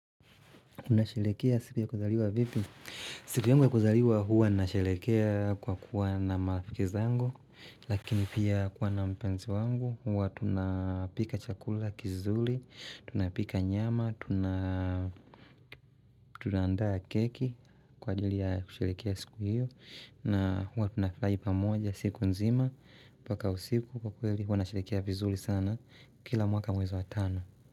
Unasherekea siku ya kuzaliwa vipi. Siku yangu ya kuzaliwa huwa nasherekea kwa kuwa na marafiki zangu lakini pia kuwa na mpenzi wangu huwa tunapika chakula kizuri, tunapika nyama, tunaandaa keki kwa ajili ya kusherekea siku hiyo na huwa tunafurahi pamoja siku nzima mpaka usiku kwa kweli huwa nasherekea vizuri sana kila mwaka mwezi wa tano.